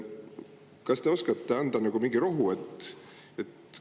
Kas te oskate anda mingit rohtu?